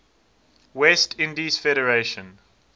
west indies federation